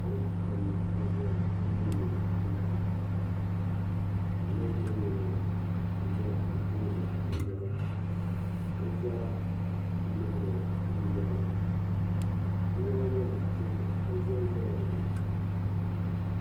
Niriba pam n zaya n niŋdi mintin k. ninvuɣu yino za bɛ tooni n yera ka bɛ zaa lihiri ŋun yerimaa bɛ nyaanga maa tihi n zanzala dini.